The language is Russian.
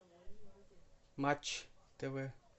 матч тв